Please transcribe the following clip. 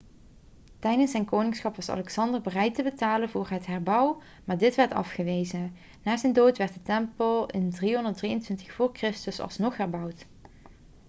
tijdens zijn koningschap was alexander bereid te betalen voor een herbouw maar dit werd afgewezen na zijn dood werd de tempel in 323 voor christus alsnog herbouwd